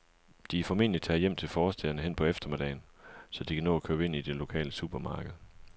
De er formentlig taget hjem til forstæderne hen på eftermiddagen, så de kan nå at købe ind i det lokale supermarked.